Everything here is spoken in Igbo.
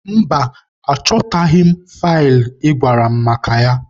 Mba, achọtaghị m faịlụ ị gwara m maka ya.